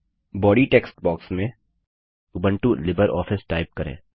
body text box में Ubuntu LibreOffice type करें